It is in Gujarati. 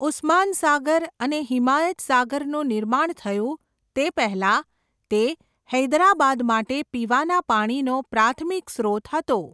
ઉસ્માન સાગર અને હિમાયત સાગરનું નિર્માણ થયું તે પહેલાં તે હૈદરાબાદ માટે પીવાના પાણીનો પ્રાથમિક સ્રોત હતો.